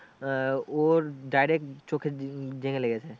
আহ ওর direct চোখে জাইগাই লেগেছে।